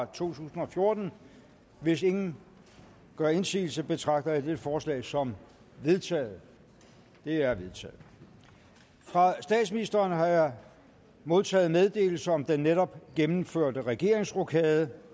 tusind og fjorten hvis ingen gør indsigelse betragter jeg dette forslag som vedtaget det er vedtaget fra statsministeren har jeg modtaget meddelelse om den netop gennemførte regeringsrokade